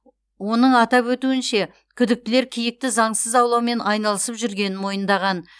оның атап өтуінше күдіктілер киікті заңсыз аулаумен айналысып жүргенін мойындаған